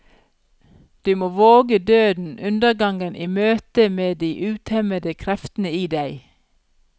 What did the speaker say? Du må våge døden, undergangen, i møtet med de utemmede kreftene i deg.